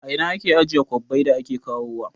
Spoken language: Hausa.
A ina ake ajiye kwabbai da ake kawo wa?